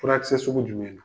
Furakɛkisɛ sugu jumɛn na?